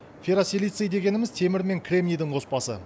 ферросилиций дегеніміз темір мен кремнийдің қоспасы